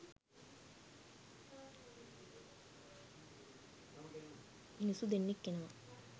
මිනිස්සු දෙන්නෙක් එනවා